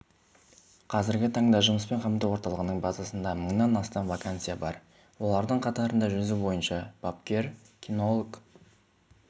қазіргі таңда жұмыспен қамту орталығының базасында мыңнан астам вакансия бар олардың қатарында жүзу бойынша бапкер кинолог